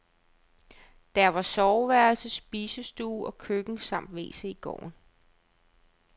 Der var soveværelse, spisestue og køkken samt wc i gården.